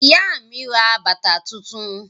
Ìyá mi ra bàtà tuntun.